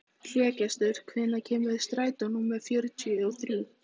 Hlégestur, hvenær kemur strætó númer fjörutíu og þrjú?